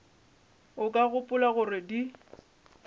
o ka gopola gore di